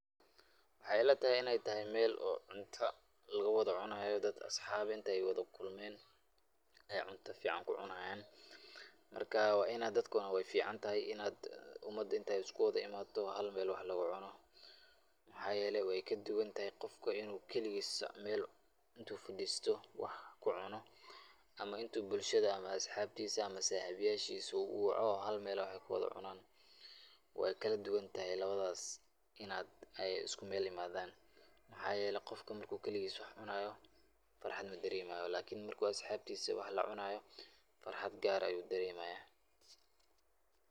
Waxaay ila tahay inaay tahay meel oo cunta lagu wada cunaayo, dad asxaab eh aay wada kulmeen, aay cunto fican ku cunaayan, marka inaad dadka waay ficantahay inaay umada inaay isku wada imaato hal meel wax lagu cuno, waxaa yeele waay ka duban tahay qofka inuu kaligiisa meel intuu fadiisto wax kucuno, ama intuu bulshada ama asxaabtiisa ama saxib yashiisa uu uwaco oo hal meel wax aay kuwada cunaan, waay kala duban tahay labadaas inaay isku meel imaadan, mxaa yeele qofka marki uu kaligiisa wax cunaayo farxad ma dareemayo lakin markuu asxaabtiisa wax lacunaayo farxad gaar ah ayuu dareemaya.